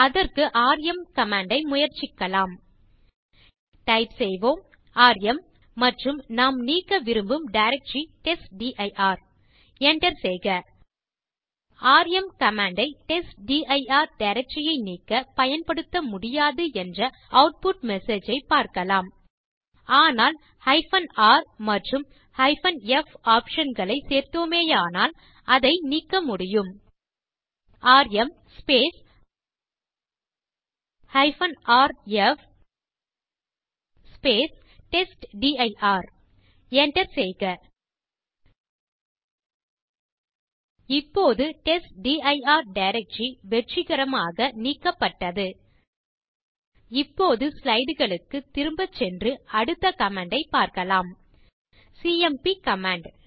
அதற்கு rm command ஐ முயற்சிக்கலாம் டைப் செய்வோம் ராம் மற்றும் நாம் நீக்க விரும்பும் டைரக்டரி டெஸ்ட்டிர் enter செய்க ராம் கமாண்ட் ஐ டெஸ்ட்டிர் டைரக்டரி ஐ நீக்க பயன்படுத்த முடியாது என்ற ஆட்புட் மெசேஜ் ஐ பார்க்கலாம் ஆனால் r மற்றும் f ஆப்ஷன் களை சேர்த்தோமேயானால் அதை நீக்க முடியும் ராம் rf டெஸ்ட்டிர் enter செய்க இப்போது டெஸ்ட்டிர் டைரக்டரி வெற்றிகரமாக நீக்கப்பட்டது இப்போது ஸ்லைடு களுக்குத் திரும்பச் சென்று அடுத்த கமாண்ட் ஐப் பார்க்கலாம் சிஎம்பி கமாண்ட்